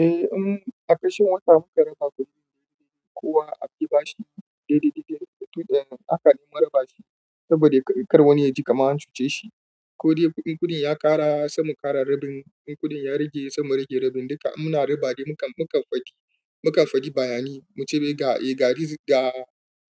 Eh, in a kashin wata muka raba kuɗin daidai dai kuwa a bi bashi daidai dai dai, to haka ne mun raba shi saboda kar wani ya ji kaman an cuce shi. Ko dai in kuɗin ya ƙara, sai mu ƙara rabin, in kuɗin ya rage, sai mu rage rabin. Duka muna raba dai mu kafaɗi, mu kafaɗi bayan mu ce